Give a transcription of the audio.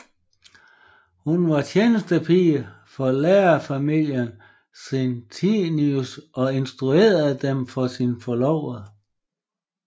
Hun var tjenestepige for lærerfamilien Senstius og introducerede dem for sin forlovede